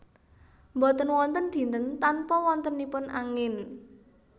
Boten wonten dinten tanpa wontenipun angin